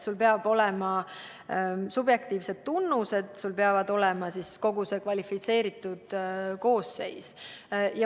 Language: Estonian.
Sul peavad olema subjektiivsed tunnused, sul peab olema kogu kvalifitseeritud koosseis.